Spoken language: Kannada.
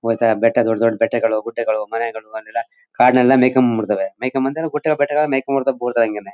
ಮತ್ತೆ ಬೆಟ್ಟ ದೊಡ್ ದೊಡ್ಡ ಬೆಟ್ಟಗಳು ಗುಡ್ಡಗಳು ಮನೆಗಳು ಅಲ್ಲೆಲ್ಲ ಕಾಡಿನಲ್ಲೆಲ್ಲ ಮೇಯಿಕೊಂಡು ಬಂದು ಬಿಡ್ತವೆ ಮೇಯಿಕೊಂಡು ಬಂದ್ರೆ ಗುಡ್ಡಗಳು ಬೆಟ್ಟಗಳು ಮೇಯಿಕೊಂಡು ಬರ್ತವೆ